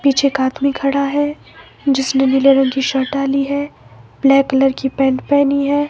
पीछे एक आदमी खड़ा है जिसने नीले रंग शर्ट डाली है ब्लैक कलर की पैंट पहनी है।